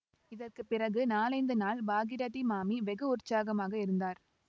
இதற்கு பிறகு நாலைந்து நாள் பாகீரதி மாமி வெகு உற்சாகமாக இருந்தார்